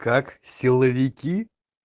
как силовики